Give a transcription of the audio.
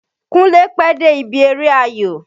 Kúnlé pẹ́ dé ibi eré ayò.